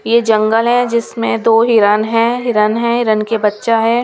ये जंगल है जिसमें दो हिरन है हिरन है हिरण के बच्चा है.